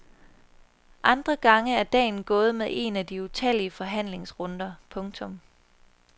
Andre gange er dagen gået med en af de utallige forhandlingsrunder. punktum